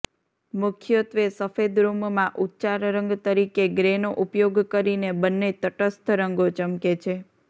મુખ્યત્વે સફેદ રૂમમાં ઉચ્ચાર રંગ તરીકે ગ્રેનો ઉપયોગ કરીને બંને તટસ્થ રંગો ચમકે છે